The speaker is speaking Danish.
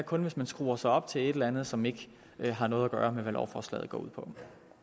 kun hvis man skruer sig op til et eller andet som ikke har noget at gøre med hvad lovforslaget går ud på